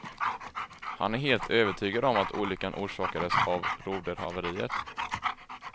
Han är helt övertygad om att olyckan orsakades av roderhaveriet.